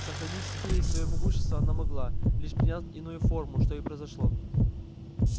сохранить себе и своё могущество она могла лишь приняв иную форму что и произошло